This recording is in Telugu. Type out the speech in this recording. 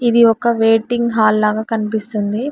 ఇది ఒక వెయిటింగ్ హాల్ లాగా కనిపిస్తుంది.